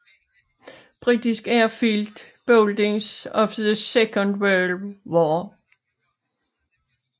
British Airfield Buildings of the Second World War